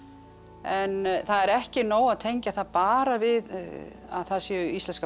en það er ekki nóg að tengja það bara við að það séu íslenskar